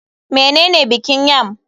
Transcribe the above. Menene bikin yam?